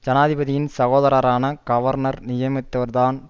ஜனாதிபதியின் சகோதரரான கவர்னர் நியமித்தவர் தான்